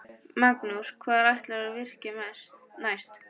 Magnús: Hvar ætlarðu að virkja næst?